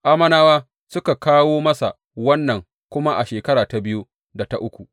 Ammonawa suka kawo masa wannan kuma a shekara ta biyu da ta uku.